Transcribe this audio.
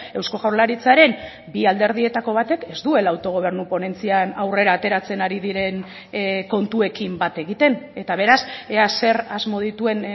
eusko jaurlaritzaren bi alderdietako batek ez duela autogobernu ponentzian aurrera ateratzen ari diren kontuekin bat egiten eta beraz ea zer asmo dituen